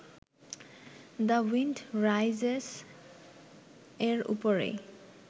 the wind rises এর ওপরেই